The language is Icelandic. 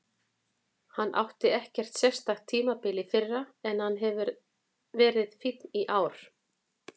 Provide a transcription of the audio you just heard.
Hann átti ekkert sérstakt tímabil í fyrra en hann hefur verið fínn í ár.